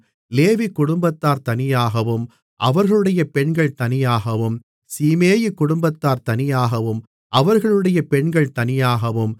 லேவி குடும்பத்தார் தனியாகவும் அவர்களுடைய பெண்கள் தனியாகவும் சீமேயி குடும்பத்தார் தனியாகவும் அவர்களுடைய பெண்கள் தனியாகவும்